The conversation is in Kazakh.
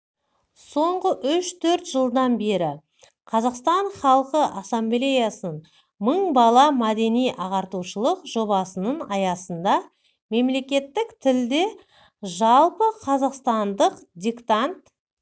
соңғы үш-төрт жылдан бері қазақстан халқы ассамблеясының мың бала мәдени-ағартушылық жобасының аясында мемлекеттік тілде жалпықазақстандық диктант